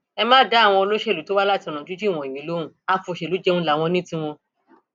ẹ má dá àwọn olóṣèlú tó wá láti ọnà jínjìn wọnyí lóhun àfọṣẹlùjẹun láwọn ní tiwọn